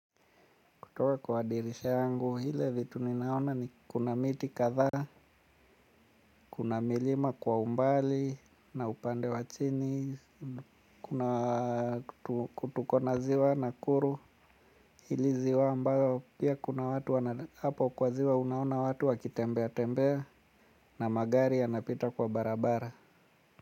Kutoa kwa dirisha yangu, ile vitu ninaona ni kuna miti kadhaa, kuna milima kwa umbali, na upande wa chini, kuna ku tuko na ziwa nakuru, hili ziwa ambayo, pia kuna watu wana, hapo kwa ziwa unaona watu wakitembea tembea, na magari yanapita kwa barabara.